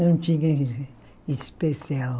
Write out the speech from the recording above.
Não tinha especial.